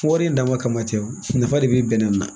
Wari in dama kama ten nafa de bi bɛnɛ na